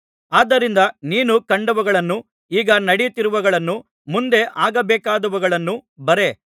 ಆದ್ದರಿಂದ ನೀನು ಕಂಡವುಗಳನ್ನೂ ಈಗ ನಡೆಯುತ್ತಿರುವವುಗಳನ್ನೂ ಮುಂದೆ ಆಗಬೇಕಾದವುಗಳನ್ನೂ ಬರೆ